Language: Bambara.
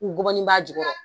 dɔgɔnin b'a ju kɔrɔ .